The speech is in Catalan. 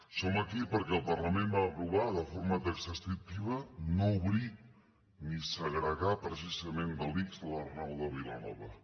som aquí perquè el parlament va aprovar de forma taxativa no obrir ni segregar precisament de l’ics l’arnau de vilanova